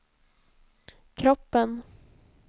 kroppen